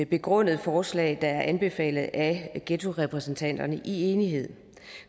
begrundede forslag der er anbefalet af ghettorepræsentanterne i enighed